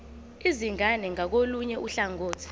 izingane ngakolunye uhlangothi